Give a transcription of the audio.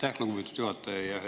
Aitäh, lugupeetud juhataja!